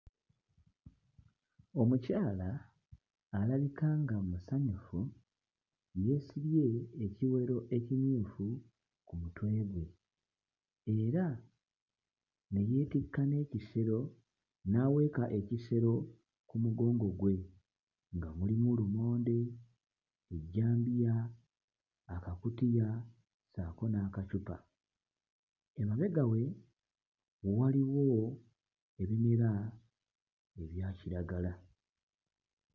Omukyala alabika nga musanyufu yeesibye ekiwero ekimyufu ku mutwe gwe era ne yeetikka n'ekisero n'aweeka ekisero ku mugongo gwe nga mulimu lumonde, ejjambiya, akakutiya ssaako n'akacupa. Emabega we waliwo ebimera ebya kiragala.